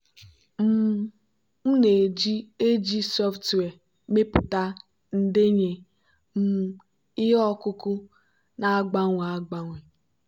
um m na-eji ag software mepụta ndenye um ihe ọkụkụ na-agbanwe agbanwe.